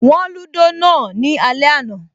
Wọ́n lúdò náà ní alẹ́ àná